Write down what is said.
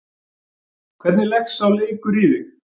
Hvernig leggst sá leikur í þig?